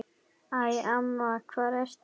Æ, amma hvar ertu?